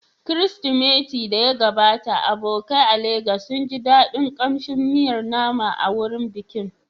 Kirsimati da ya gabata, abokai a Legas sun ji daɗin kamshin miyar nama a wurin bikin.